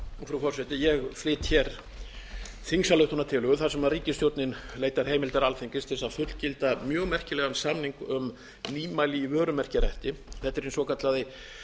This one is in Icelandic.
frúhú forseti ég flyt hér þingsályktunartillögu þar sem ríkisstjórnin leitar heimildar alþingis til að fullgilda mjög merkilegan samning um nýmæli í vörumerkjarétti þetta er hinn svokallaði